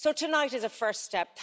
So tonight is a first step.